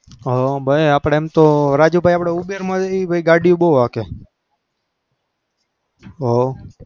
હ ભાઈ આપણે એમ તો રાજુભાઈ આપણે ઉબેરમાંથી ગાડીઓ બહુ હાકે હોવ.